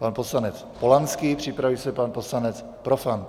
Pan poslanec Polanský, připraví se pan poslanec Profant.